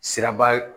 Siraba